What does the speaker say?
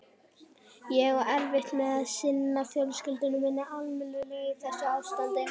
Ég á erfitt með að sinna fjölskyldu minni almennilega í þessu ástandi.